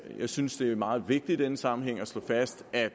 jeg synes det er meget vigtigt i denne sammenhæng slå fast at